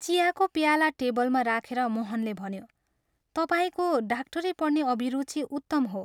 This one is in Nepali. चियाको प्याला टेबलमा राखेर मोहनले भन्यो, "तपाईंको डाक्टरी पढ्ने अभिरुचि उत्तम हो।